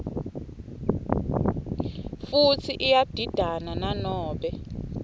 futsi iyadidana nanobe